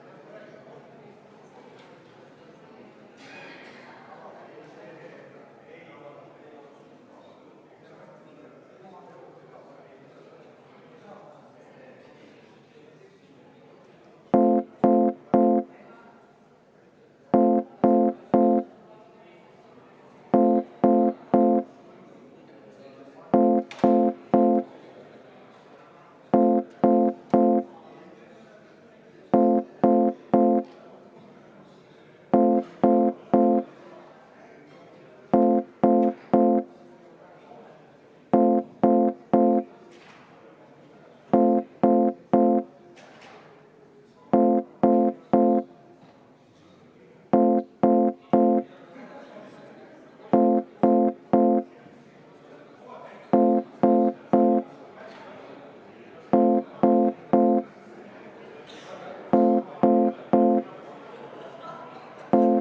Kolmanda muudatusettepaneku on teinud Eesti Konservatiivse Rahvaerakonna fraktsioon, juhtivkomisjon on jätnud arvestamata.